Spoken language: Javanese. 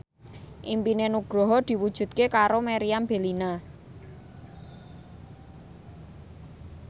impine Nugroho diwujudke karo Meriam Bellina